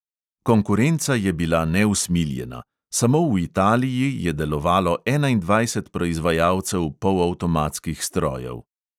Konkurenca je bila neusmiljena, samo v italiji je delovalo enaindvajset proizvajalcev polavtomatskih strojev.